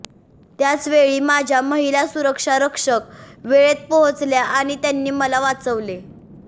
त्याचवेळी माझ्या महिला सुरक्षा रक्षक वेळेत पोहोचल्या आणि त्यांनी मला वाचवले